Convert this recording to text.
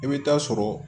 I bɛ taa sɔrɔ